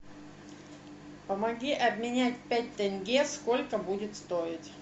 помоги обменять пять тенге сколько будет стоить